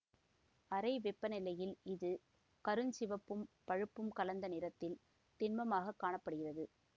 அறை வெப்பநிலையில் இது கருஞ்சிவப்பும் பழுப்பும் கலந்த நிறத்தில் திண்மமாகக் காண படுகிறது